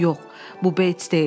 “Yox, bu Beyts deyildi.